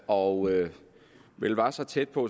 og vel var så tæt på